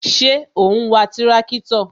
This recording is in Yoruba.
Ṣé o n wa tirakitọ?